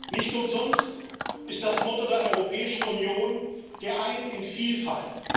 Nicht umsonst ist das Motto der Europäischen Union Geeint in Vielfalt.